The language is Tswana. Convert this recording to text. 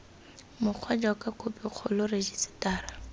mokgwa jaaka khophi kgolo rejisetara